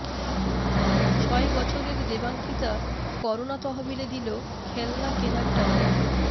ছয় বছরের দেবাঙ্কিতা করোনা তহবিলে দিল খেলনা কেনার টাকা